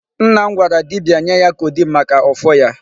Nna m gwara dibia nye ya codeine maka ụfụ ya.